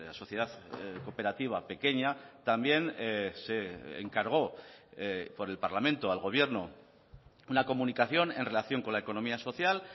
sociedad cooperativa pequeña también se encargó por el parlamento al gobierno una comunicación en relación con la economía social